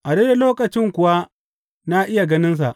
A daidai lokacin kuwa na iya ganinsa.